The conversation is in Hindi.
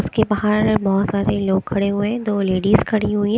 उसके बाहर बहोत सारे लोग खड़े हुए हैं दो लेडिज खड़ी हुई है--